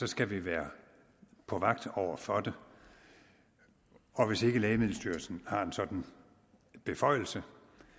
skal vi være på vagt over for det og hvis lægemiddelstyrelsen har en sådan beføjelse